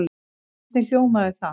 Hvernig hljómaði það?